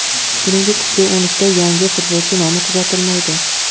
Shuningdek, kuchli o‘nlikda yangi futbolchi nomi kuzatilmaydi.